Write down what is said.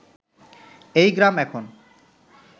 এই গ্রাম এখন